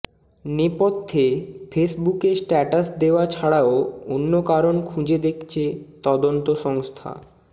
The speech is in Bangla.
নেপথ্যে ফেসবুকে স্ট্যাটাস দেওয়া ছাড়াও অন্য কারণ খুঁজে দেখছে তদন্ত সংস্থা